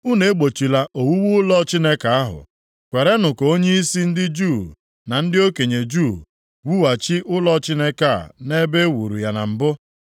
Unu egbochila owuwu ụlọ Chineke ahụ. Kwerenụ ka onyeisi ndị Juu na ndị okenye Juu wughachi ụlọ Chineke a nʼebe e wuru ya na mbụ.